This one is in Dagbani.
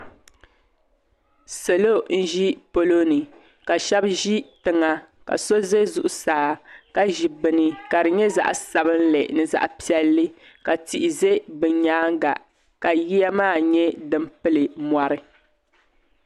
Salo zi palo ni ka shɛba zi tiŋa ka so zɛ zuɣusaa ka zi bini ka di nyɛ zaɣi sabinli ni zaɣi piɛlli ka tihi zɛ bi yɛanga ka yiya maa nyɛ dini pili mori.